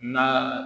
Na